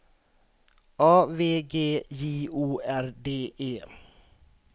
A V G J O R D E